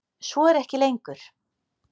Svo er ekki lengur.